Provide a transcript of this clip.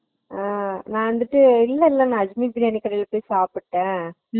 உம் நான் இருந்துட்டு இல்ல இல்ல நா அஜ்மீர் பிரியாணி கடைல போய் சாப்பிட்டே